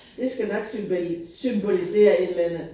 Det skal nok symbolisere et eller andet